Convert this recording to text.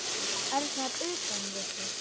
Örn var utan við sig.